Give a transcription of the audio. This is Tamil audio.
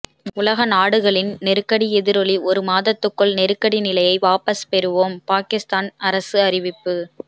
உலக நாடுகளின் நெருக்கடி எதிரொலி ஒரு மாதத்துக்குள் நெருக்கடி நிலையை வாபஸ் பெறுவோம் பாகிஸ்தான் அரசு அறிவிப்பு